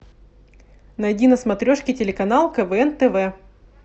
найди на смотрешке телеканал квн тв